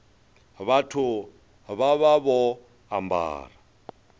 vhathu vha vha vho ambara